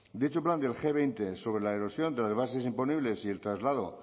dicho plan del ge veinte sobre la erosión de las bases imponibles y el traslado